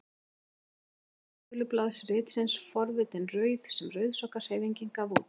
Forsíða fyrsta tölublaðs ritsins Forvitin rauð sem Rauðsokkahreyfingin gaf út.